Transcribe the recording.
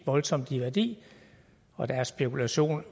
voldsomt i værdi og deres spekulation